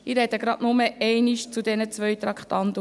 Ich spreche nur einmal zu beiden Traktanden.